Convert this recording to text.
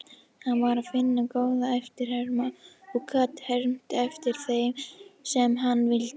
Hann var firna góð eftirherma og gat hermt eftir þeim sem hann vildi.